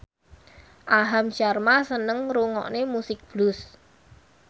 Aham Sharma seneng ngrungokne musik blues